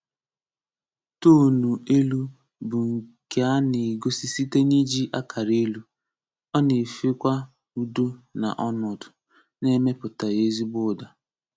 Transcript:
Toonụ élú bụ nke a na-egosi site n'iji akará élú, ọ na-efe kwa udo na onudu, na-emepụtaghi ezigbo ụdá.